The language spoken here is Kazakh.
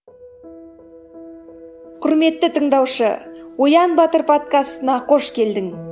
құрметті тыңдаушы оян батыр подкастына қош келдің